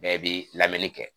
Bɛɛ bi lamɛnni kɛ